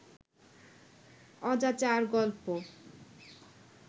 অজাচার গল্প